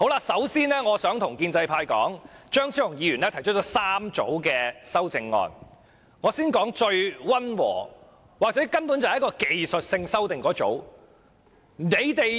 首先，張超雄議員提出了3組修正案，我先說最溫和，或者根本是技術性修訂的一組。